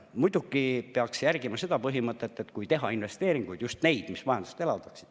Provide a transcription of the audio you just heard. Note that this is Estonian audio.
Muidugi peaks järgima seda põhimõtet, et kui teha investeeringuid, siis just neid, mis majandust elavdaks.